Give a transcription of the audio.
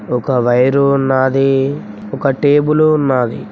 ఒక వైరు ఉన్నాది ఒక టేబులు ఉన్నాది.